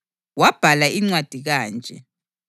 Wabhala incwadi kanje: